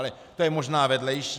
Ale to je možná vedlejší.